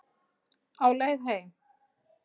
Á leið heim